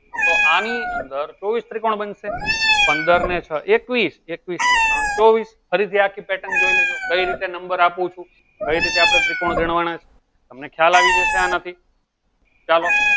તો આની અંદર ચૌવીસ ત્રિકોણ બનશે પંદર ને છ એકવીસ એકવીસ ને ત્રણ ચૌવીસ ફરી થી આખી pattern જોઈ લેજો કઈ રીતે number આપું છું કઈ રીતે ત્રિકોણ ગણવાના તમને ખયાલ આવી ગયો આના થી ચાલો